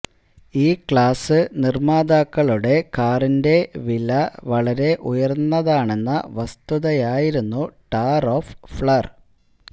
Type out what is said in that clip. ഈ ക്ലാസ് നിർമാതാക്കളുടെ കാറിന്റെ വില വളരെ ഉയർന്നതാണെന്ന വസ്തുതയായിരുന്നു ടാർ ഓഫ് ഫ്ളർ